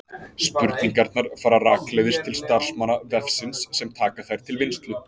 Spurningarnar fara rakleiðis til starfsmanna vefsins sem taka þær til vinnslu.